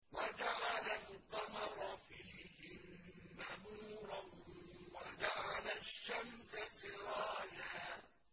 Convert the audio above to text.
وَجَعَلَ الْقَمَرَ فِيهِنَّ نُورًا وَجَعَلَ الشَّمْسَ سِرَاجًا